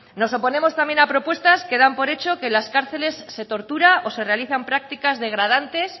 nos oponemos también a propuestas que dan por hecho que en las cárceles se tortura o se realizan prácticas degradantes